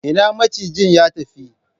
Ina macijin ya tafi?